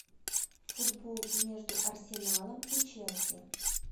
футбол между арсеналом и челси